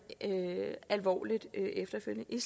alvorligt efterfølgende i